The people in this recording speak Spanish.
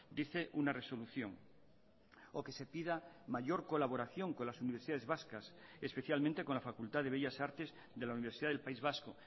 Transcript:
dice una resolución o que se pida mayor colaboración con las universidades vascas especialmente con la facultad de bellas artes de la universidad del país vasco